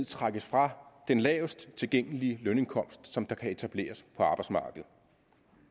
trækkes fra den lavest tilgængelige lønindkomst som kan etableres på arbejdsmarkedet